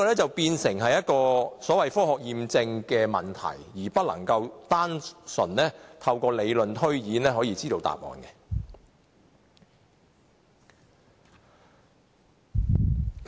這便屬於科學驗證的問題，不能單純透過理論推演可得知答案。